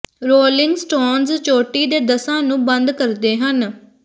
rolling Stones ਚੋਟੀ ਦੇ ਦਸਾਂ ਨੂੰ ਬੰਦ ਕਰਦੇ ਹਨ